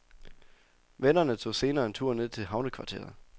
Vennerne tog senere en tur ned til havnekvarteret.